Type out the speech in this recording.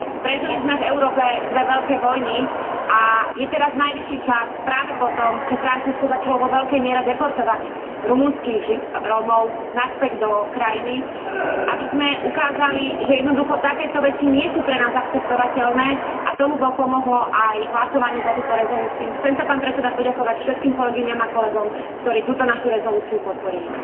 Prežili sme v Európe dve veľké vojny a je teraz najvyšší čas, práve po tom, čo Francúzsko začalo vo veľkej miere deportovať rumunských Rómov naspäť do krajiny, aby sme ukázali, že jednoducho takéto veci nie sú pre nás akceptovateľné, a tomu pomohlo aj hlasovanie za túto rezolúciu. Chcem sa, pán predseda, poďakovať všetkým kolegyniam a kolegom, ktorí túto našu rezolúciu podporili.